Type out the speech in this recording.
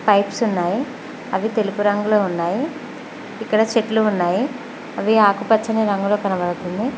Pipes ఉన్నాయి అవి తెలుపు రంగులో ఉన్నాయి ఇక్కడ చెట్లు ఉన్నాయి అవి ఆకుపచ్చని రంగులో కనబడుతుంది.